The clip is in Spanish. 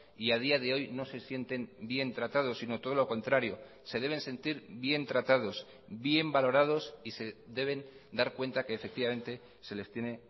y a día de hoy no se sienten bien tratados sino todo lo contrario se deben sentir bien tratados bien valorados y se deben dar cuenta que efectivamente se les tiene